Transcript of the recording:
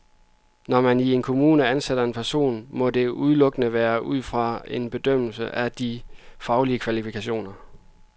Når man i en kommune ansætter en person, må det udelukkende være ud fra en bedømmelse af de faglige kvalifikationer.